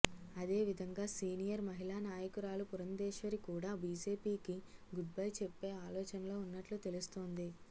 అదేవిధంగా సీనియర్ మహిళా నాయకురాలు పురంధేశ్వరి కూడా బీజేపీకి గుడ్ బై చెప్పే ఆలోచనలో ఉన్నట్లు తెలుస్తోంది